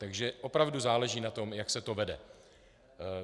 Takže opravdu záleží na tom, jak se to vede.